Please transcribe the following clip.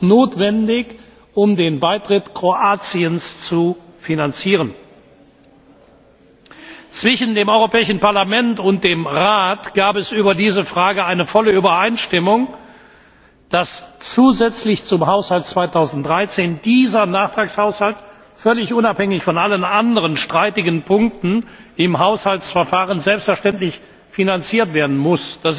1 ist notwendig, um den Beitritt Kroatiens zu finanzieren. Zwischen dem Europäischen Parlament und dem Rat gab es über diese Frage eine volle Übereinstimmung, dass zusätzlich zum Haushalt 2013 dieser Nachtragshaushalt völlig unabhängig von allen anderen streitigen Punkten im Haushaltsverfahren selbstverständlich finanziert werden muss.